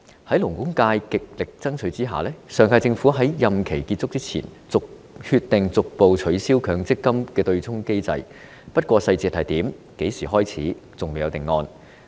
在勞工界極力爭取下，上屆政府在任期結束前終於決定逐步取消強積金對沖機制，不過當中細節和落實時間等則仍未有定案。